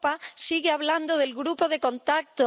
Europa sigue hablando del grupo de contacto.